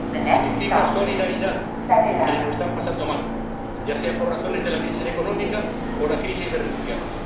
Significa solidaridad con quienes lo están pasando mal, ya sea por razones de la crisis económica o la crisis de refugiados.